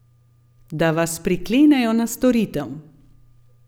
Da vas priklenejo na storitev.